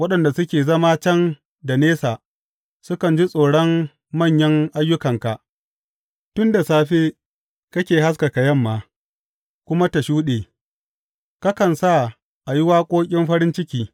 Waɗanda suke zama can da nesa sukan ji tsoron manyan ayyukanka; inda safe ke haskaka yamma kuma ta shuɗe kakan sa a yi waƙoƙin farin ciki.